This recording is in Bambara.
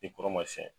I kɔrɔ ma siɲɛ